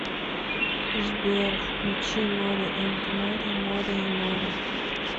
сбер включи море энд море море и море